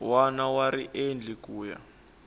wana wa riendli ku ya